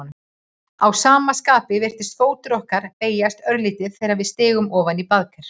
Að sama skapi virðist fótur okkar beygjast örlítið þegar við stígum ofan í baðker.